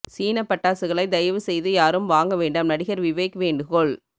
சீன பட்டாசுகளை தயவு செய்து யாரும் வாங்க வேண்டாம் நடிகர் விவேக் வேண்டுகோள்